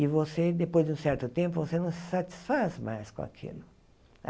E você, depois de um certo tempo, você não se satisfaz mais com aquilo.